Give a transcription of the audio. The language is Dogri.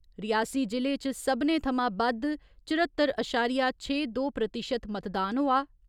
रियासी जि'ले च सब्बने थमां बद्द चौर्‌हत्तर अशारिया छे दो प्रतिशत मतदान होआ।